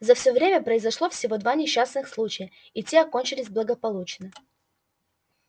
за всё время произошло всего два несчастных случая и те окончились благополучно